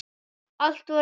Allt var nýtt.